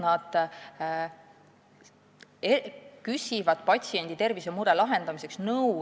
Nad küsivad eriarstilt nõu patsiendi tervisemure lahendamiseks.